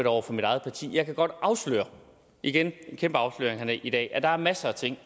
over for mit eget parti jeg kan godt afsløre igen en kæmpe afsløring at der er masser af ting